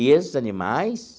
E esses animais